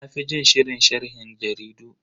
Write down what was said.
Na fi jin shirin sharhin jaridu.